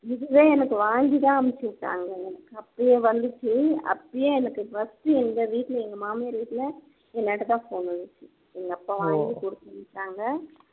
இதுவே எனக்கு வாங்கி தான் அனுப்பி விட்டாங்க எனக்கு அப்போ வந்துச்சு அப்போயே எனக்கு first டு எங்க வீட்டுல எங்க மாமியார் வீட்டுல என் கிட்ட தான் phone இருந்துச்சு எங்க அப்பா வாங்கி கொடுத்து அனுப்பிச்சாங்க